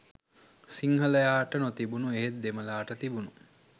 සිංහලයාට නොතිබුණු එහෙත් දෙමළාට තිබුණු